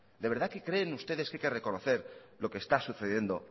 de verdad que creen ustedes que hay que reconocer lo que está sucediendo